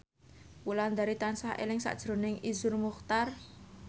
Wulandari tansah eling sakjroning Iszur Muchtar